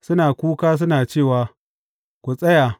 Suna kuka suna cewa, Ku tsaya!